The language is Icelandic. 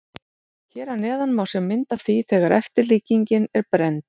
Hér að neðan má sjá mynd af því þegar eftirlíkingin er brennd.